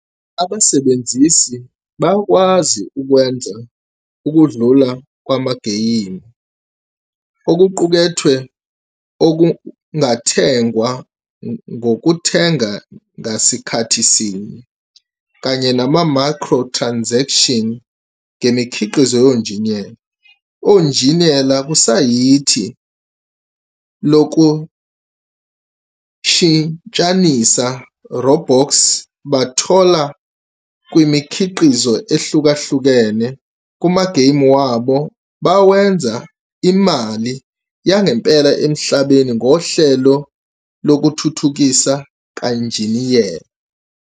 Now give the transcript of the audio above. Abasebenzisi bayakwazi ukwenza ukudlula kwamageyimu, okuqukethwe okungathengwa ngokuthenga ngasikhathi sinye, kanye nama-microtransaction ngemikhiqizo yonjiniyela. Onjiniyela kusayithi lokushintshanisa Robux bathola kumikhiqizo ehlukahlukene kumageyimu wabo bawenza imali yangempela emhlabeni ngohlelo lokuThuthukisa kanjiniyela.